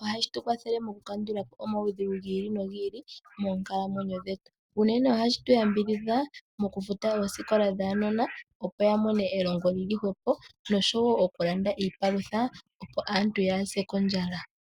ohashi tu kwathele oku kandulapo omawudhigu gi ili no gi ili moonkalamwenyo dhetu . Unene ohashi tu ambidhidha mokufuta oosikola dhaanona opo yamone elongo lili hwepo . Nosho woo oku landa iipalutha opo aantu yaase kondjala.